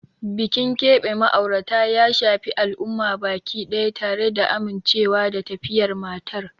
Bikin keɓe ma'aurata ya shafi al'umma baki daya, tare da amincewa da tafiyar matar.